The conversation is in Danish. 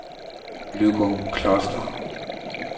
Løgumkloster